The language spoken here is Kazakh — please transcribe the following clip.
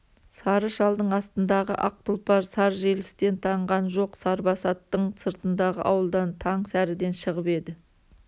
сары шалдың астындағы ақ тұлпар сар желістен танған жоқ сарбасаттың сыртындағы ауылдан таң сәріден шығып еді